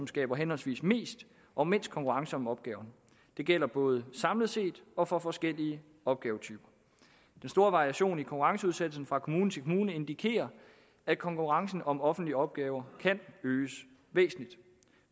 skaber henholdsvis mest og mindst konkurrence om opgaverne det gælder både samlet set og for forskellige opgavetyper den store variation i konkurrenceudsættelsen fra kommune til kommune indikerer at konkurrencen om offentlige opgaver kan øges væsentligt